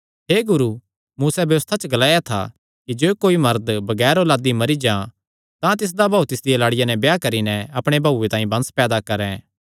हे गुरू मूसैं व्यबस्था च ग्लाया था कि जे कोई मरद बगैर औलादी मरी जां तां तिसदा भाऊ तिसदिया लाड़िया नैं ब्याह करी नैं अपणे भाऊये तांई वंश पैदा करैं